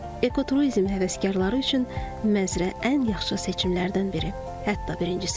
Ekoturizm həvəskarları üçün Məzrə ən yaxşı seçimlərdən biri, hətta birincisidir.